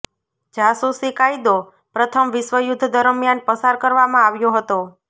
જાસૂસી કાયદો પ્રથમ વિશ્વયુદ્ધ દરમિયાન પસાર કરવામાં આવ્યો હતો